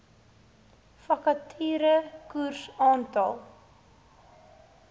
vakature koers aantal